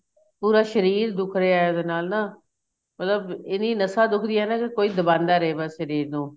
ਪੂਰਾ ਸ਼ਰੀਰ ਦੁਖ ਰਿਹਾ ਇਹਦੇ ਨਾਲ ਨਾ ਮਤਲਬ ਇੰਨੀ ਨਸਾ ਦੁੱਖਦੀਆਂ ਨਾ ਕੋਈ ਦਬਾਂਦਾ ਰਹੇ ਬੱਸ ਸ਼ਰੀਰ ਨੂੰ